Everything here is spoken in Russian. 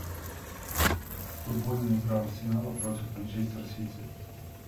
футбольная игра арсенала против манчестер сити